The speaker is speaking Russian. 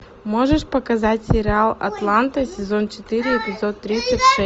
можешь показать сериал атланта сезон четыре эпизод тридцать шесть